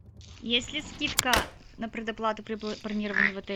есть ли скидка на предоплату при бронировании в отеле